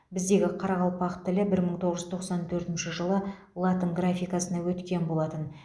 біздегі қарақалпақ тілі бір мың тоғыз жүз тоқсан төртінші жылы латын графикасына өткен болатын